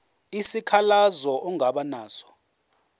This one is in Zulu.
isikhalazo ongaba naso